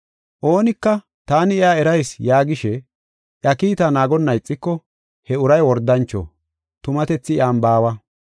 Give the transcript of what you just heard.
Oonika, “Taani iya erayis” yaagishe, iya kiitaa naagonna ixiko he uray wordancho; tumatethi iyan baawa.